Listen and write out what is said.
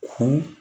Hun